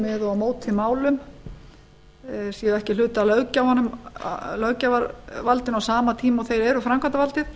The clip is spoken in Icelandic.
með og móti málum séu ekki hluti af löggjafarvaldinu á sama tíma og þeir eru framkvæmdarvaldið